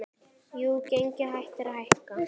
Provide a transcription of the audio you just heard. Jú, gengið hættir að hækka.